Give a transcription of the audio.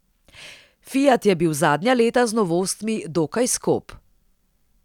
Fiat je bil zadnja leta z novostmi dokaj skop.